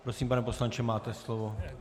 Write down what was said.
Prosím, pane poslanče, máte slovo.